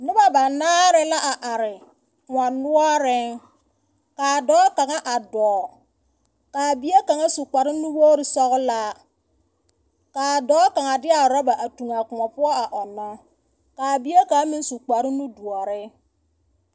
Noba banaare la a are kõɔ noɔreŋ. Ka a dɔɔ kaŋa a dɔɔ, ka bie kaŋa su kpare nuwogiri sɔgelaa. Ka a dɔɔ kaŋa de a orɔba a toŋ a kõɔ poɔ a ɔnnɔ. Ka bie kaŋ meŋ su kpare nudoɔre.